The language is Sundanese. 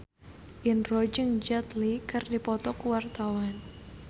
Indro jeung Jet Li keur dipoto ku wartawan